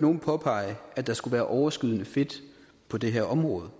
nogen påpege at der skulle være overskydende fedt på det her område